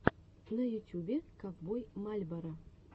на ютюбе ковбой мальборо